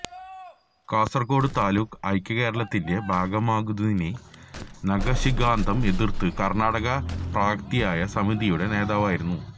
കാസര്ക്കോട് താലൂക്ക് ഐക്യകേരളത്തിന്റ ഭാഗമാക്കുന്നതിനെ നഖശിഖാന്തം എതിര്ത്ത കര്ണാടക പ്രാന്തീയ സമിതിയുടെ നേതാവായിരുന്നു